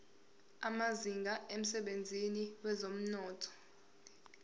amazinga emsebenzini wezomnotho